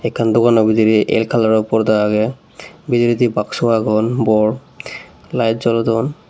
akkan dogano bederay el kalaro porda agey bederade baksu agon bor lite jolodon.